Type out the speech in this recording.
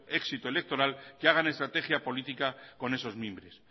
éxito electoral que hagan estrategia política con esos mimbres